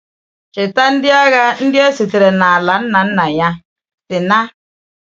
Cheta, ndị agha ndị a sitere na ala nna nna ya, Sínà.